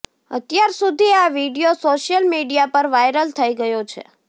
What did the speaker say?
અત્યાર સુધી આ વીડિયો સોશિયલ મીડિયા પર વાયરલ થઇ ગયો છે